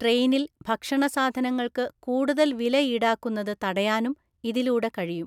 ട്രെയിനില്‍ ഭക്ഷണ സാധനങ്ങള്‍ക്ക് കൂടുതല്‍ വില ഈടാക്കുന്നത് തടയാനും ഇതിലൂടെ കഴിയും.